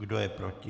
Kdo je proti?